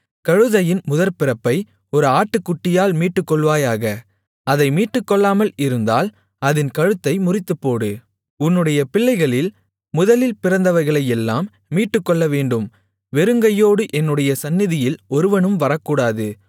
கழுதையின் முதற்பிறப்பை ஒரு ஆட்டுக்குட்டியால் மீட்டுக்கொள்வாயாக அதை மீட்டுக்கொள்ளாமல் இருந்தால் அதின் கழுத்தை முறித்துப்போடு உன்னுடைய பிள்ளைகளில் முதலில் பிறந்தவைகளையெல்லாம் மீட்டுக்கொள்ளவேண்டும் வெறுங்கையோடு என்னுடைய சந்நிதியில் ஒருவனும் வரக்கூடாது